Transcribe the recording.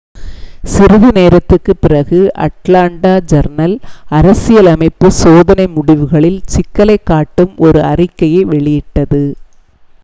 சிறிது நேரத்திற்குப் பிறகு அட்லாண்டா ஜர்னல்-அரசியலமைப்பு சோதனை முடிவுகளில் சிக்கல்களைக் காட்டும் ஒரு அறிக்கையை வெளியிட்டது